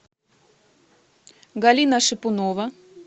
галина шипунова